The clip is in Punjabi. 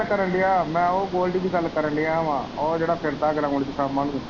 ਪਤਾ ਕੀ ਕਰਨ ਦਿਆ ਮੈਂ ਉਹ ਗੋਲਡੀ ਦੀ ਗੱਲ ਕਰਨ ਦਿਆ ਵਾ ਉਹ ਜਿਹੜਾ ਫਿਰਦਾ ਗਰਾਉਂਡ ਚ .